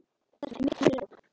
Þarna er mikill munur á.